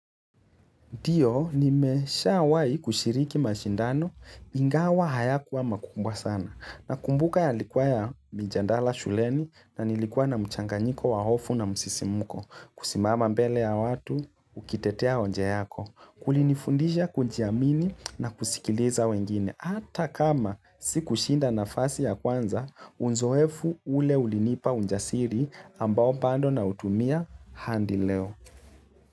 Ndio, nimesha wahi kushiriki mashindano, ingawa hayakuwa makumbwa sana. Nakumbuka yalikuwa ya mijandala shuleni na nilikuwa na mchanganyiko wa hofu na msisimuko. Kusimama mbele ya watu, ukitetea hoja yako. Kulinifundisha kujiamini na kusikiliza wengine. Hata kama sikushinda nafasi ya kwanza, uzoefu ule ulinipa ujasiri ambao bado nautumia hadi leo.